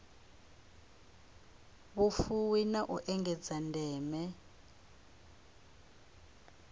vhufuwi na u engedza ndeme